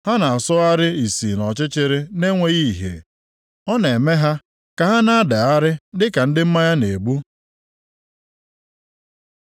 Ha na-asọgharị ìsì nʼọchịchịrị na-enweghị ìhè. Ọ na-eme ha ka ha na-adagharị dịka ndị mmanya na-egbu.